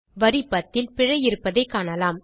வரி 10 ல் பிழை இருப்பதைக் காணலாம்